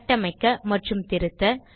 கட்டமைக்க மற்றும் திருத்த